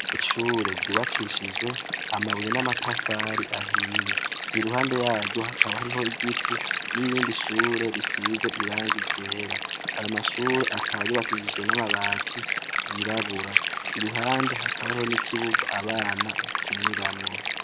Ishure ryubakishijwe amabuye n'amatafari ahiye .Iruhande yaryo hakaba hariho igiti n'irindi ishure risizwe iranga igera .Ayo mashure akaba gubakishijwe n'amabati yirabura iruhande hakaba hariho n'ikibuga abana bakiniramwo.